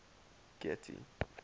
getty